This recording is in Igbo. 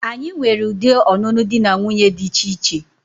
Anyi nwere udi ọnụnụ di na nwuńye dicha iche.